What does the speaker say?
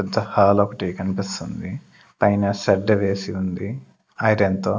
పెద్ద హాల్ ఒకటి కనిపిస్తుంది పైన సడ్డ వేసి ఉంది ఐరాన్ తో.